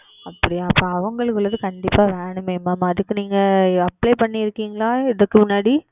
அப்படியா அப்பொழுது அவங்களுக்கு உடையது எல்லாமே கண்டிப்பாக வேண்டுமே Mam அதற்கு நீங்கள் Apply செய்துள்ளீர்களா இதற்கு முன்னாடி